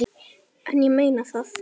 En ég meina það.